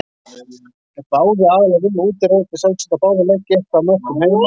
Ef báðir aðilar vinna úti er auðvitað sjálfsagt að báðir leggi eitthvað af mörkum heima.